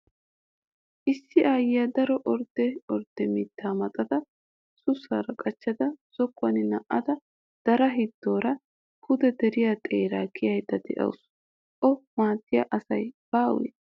Issi aayyiya daro ordde ordde mittaa maxada sussaara qachchada zokkuwam na'ada daraa hiddoora pude deriya xeeraa kiyayidda dawusu. O maaddiya asi baawee?